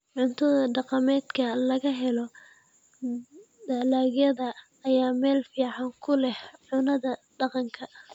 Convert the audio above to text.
Cunto-dhaqameedka laga helo dalagyada ayaa meel fiican ku leh cunnada dhaqanka.